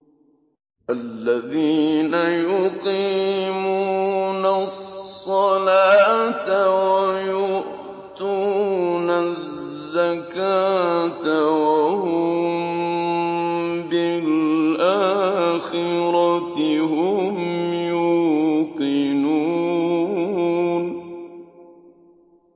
الَّذِينَ يُقِيمُونَ الصَّلَاةَ وَيُؤْتُونَ الزَّكَاةَ وَهُم بِالْآخِرَةِ هُمْ يُوقِنُونَ